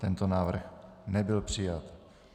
Tento návrh nebyl přijat.